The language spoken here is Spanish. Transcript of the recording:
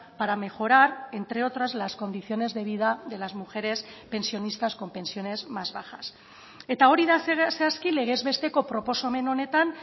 para mejorar entre otras las condiciones de vida de las mujeres pensionistas con pensiones más bajas eta hori da zehazki legez besteko proposamen honetan